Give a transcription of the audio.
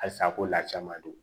Halisa ko lacaman don